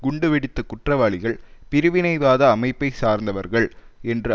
குண்டு வெடித்த குற்றவாளிகள் பிரிவினைவாத அமைப்பைச்சார்ந்தவர்கள் என்று